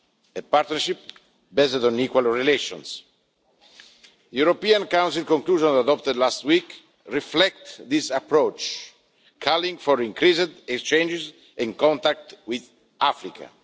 a partnership based on equal relations. The European Council conclusions adopted last week reflect this approach, calling for increased exchanges and contact with Africa.